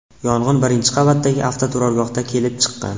Yong‘in birinchi qavatdagi avtoturargohda kelib chiqqan.